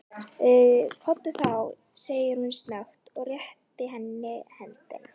Komdu þá, segir hann snöggt og réttir henni höndina.